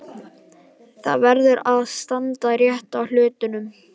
Það verður að standa rétt að hlutunum.